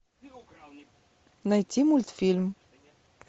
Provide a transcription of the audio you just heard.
найти мультфильм